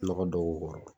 Nɔgɔ dɔw b'u kɔrɔ